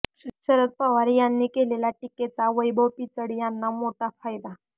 शरद पवार यांनी केलेल्या टीकेचा वैभव पिचड यांना मोठा फायदा